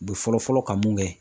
U bɛ fɔlɔ fɔlɔ ka mun kɛ